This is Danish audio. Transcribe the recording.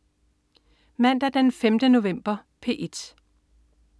Mandag den 5. november - P1: